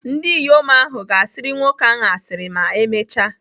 Ndị inyom ahụ ga-asịrị nwoke ahụ asịrị ma emechaa.